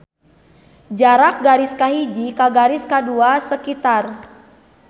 Jarak garis kahiji ka garis kadua sekitar.